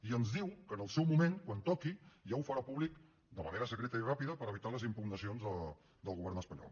i ens diu que en el seu moment quan toqui ja ho farà públic de manera secreta i ràpida per evitar les impugnacions del govern espanyol